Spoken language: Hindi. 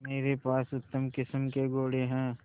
मेरे पास उत्तम किस्म के घोड़े हैं